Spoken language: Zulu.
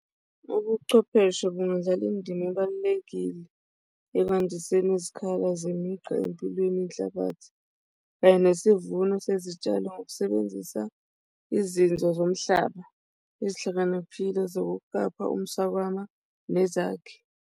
Ubuchwepheshe bungadlala indima ebalulekile ekwandiseni izikhala zemigqa empilweni yenhlabathi kanye nesivuno sezitshalo ngokusebenzisa izinzuzo zomhlaba ezihlakaniphile zokuqapha umswakama nezakhi.